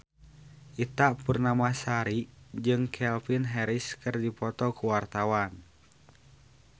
Ita Purnamasari jeung Calvin Harris keur dipoto ku wartawan